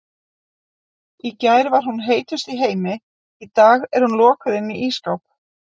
Í gær var hún heitust í heimi, í dag er hún lokuð inni í ísskáp.